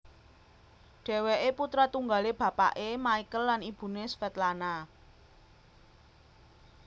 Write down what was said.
Dhèwèké putra tunggalé bapané Michael lan ibuné Svetlana